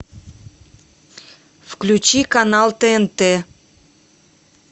включи канал тнт